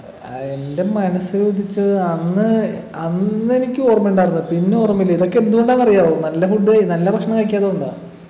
ഏർ എൻ്റെ മനസിലുദിച്ചത് അന്ന് അന്നെനിക്ക് ഓർമയുണ്ടാർന്നു പക്ഷെ ഇന്ന് ഓർമയില്ല ഇതൊക്കെ എന്ത്കൊണ്ടാന്നറിയാവോ നല്ല food ഏയ് നല്ല ഭക്ഷണം കഴിക്കാത്ത കൊണ്ടാ